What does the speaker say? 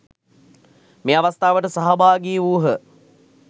මේ අවස්ථාවට සහභාගී වූහ.